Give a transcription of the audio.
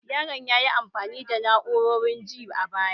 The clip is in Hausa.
Yaron ya yi amfani da na'urorin ji a baya